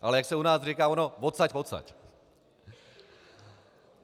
Ale jak se u nás říká, ono odsaď podsaď.